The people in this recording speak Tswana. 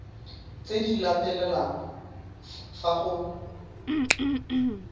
tse di latelang fa go